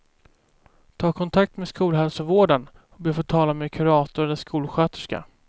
Ta kontakt med skolhälsovården och be att få tala med kurator eller skolsköterska.